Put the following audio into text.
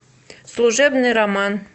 служебный роман